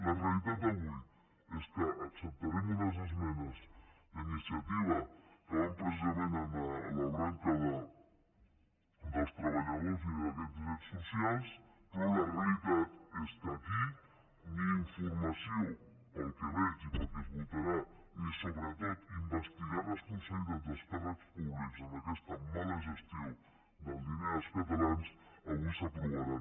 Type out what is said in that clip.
la realitat d’avui és que acceptarem unes esmenes d’iniciativa que van precisament en la branca dels treballadors i d’aquests drets socials però la realitat és que aquí ni informació pel que veig i pel que es votarà ni sobretot investigar responsabilitat dels càrrecs públics en aquesta mala gestió del diner dels catalans avui s’aprovaran